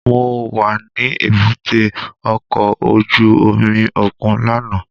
Mo wa ni èbúté ọkọ ojú omi okun làná